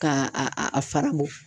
Ka a a fara bɔ.